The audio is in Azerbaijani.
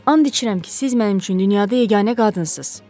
And içirəm ki, siz mənim üçün dünyada yeganə qadınsınız.